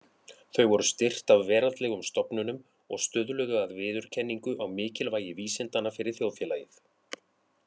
Þau voru styrkt af veraldlegum stofnunum og stuðluðu að viðurkenningu á mikilvægi vísindanna fyrir þjóðfélagið.